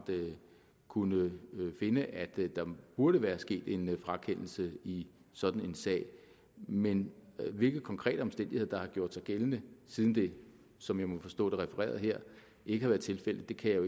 kunne finde at der burde være sket en frakendelse i sådan en sag men hvilke konkrete omstændigheder der har gjort sig gældende siden det som jeg må forstå det refereret her ikke har været tilfældet kan jeg